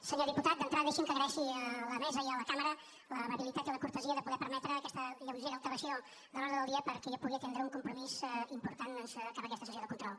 senyor diputat d’entrada deixi’m que agraeixi a la mesa i a la cambra l’amabilitat i la cortesia de poder permetre aquesta lleugera alteració de l’ordre del dia perquè jo pugui atendre un compromís important doncs cap aquesta sessió de control